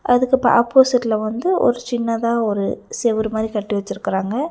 அதுக்கு இப்ப ஆப்போசிட்ல வந்து ஒரு சின்னதா ஒரு செவுரு மாறி கட்டிவச்சிருக்கறாங்க.